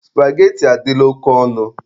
Supageti adịla oke ọnụ.